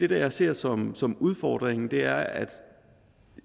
det jeg ser som som udfordringen er at